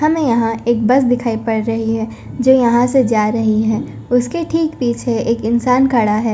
हमें यहां एक बस दिखाई पड़ रही है जो यहां से जा रही है उसके ठीक पीछे एक इंसान खड़ा है।